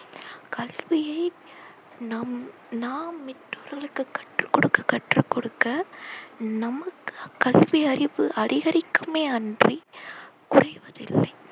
கல்வியை நம் நாம் இன்னொருவருக்கு கற்று கொடுக்க கற்று கொடுக்க நமக்கு கல்வி அறிவு அதிகரிக்குமே அன்றி குறைவதில்லை.